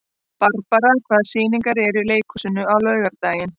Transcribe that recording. Barbara, hvaða sýningar eru í leikhúsinu á laugardaginn?